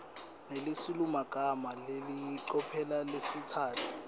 nesilulumagama ngelicophelo lelisetulu